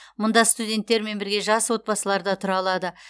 мұнда студенттермен бірге жас отбасылар да тұра алады